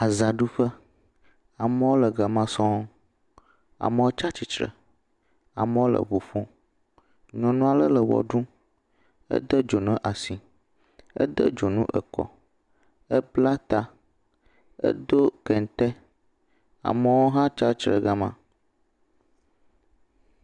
Azãɖuƒe. Amewo le gama sɔŋ. Amewo tsa tsitre. Amewo le ŋu ƒom. Nyɔnua le le ʋe ɖum. Edo dzonu asi. Ede dzuno ekɔ. Ebla ta. Edo kente. Amewo hã tsa tre gama.